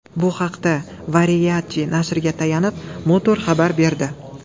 Bu haqda, Variety nashriga tayanib, Motor xabar berdi .